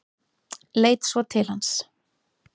Leit svo til hans.